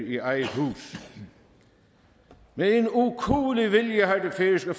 i eget hus med en ukuelig vilje har det færøske